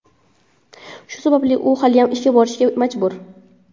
Shu sababli u haliyam ishga borishga majbur.